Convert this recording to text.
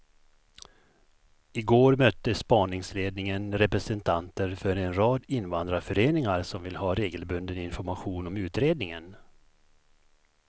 I går mötte spaningsledningen representanter för en rad invandrarföreningar som vill ha regelbunden information om utredningen.